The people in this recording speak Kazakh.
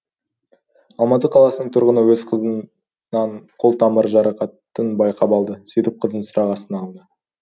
алматы қаласынң тұрғыны өз қызыннан қол тамыр жарақатын байқап алды сөйтіп қызын сұрақ астына алады